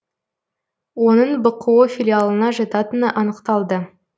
оның бқо филиалына жататыны анықталды